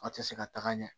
A tɛ se ka taga ɲɛ